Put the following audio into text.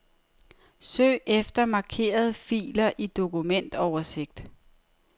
Søg efter markerede filer i dokumentoversigt.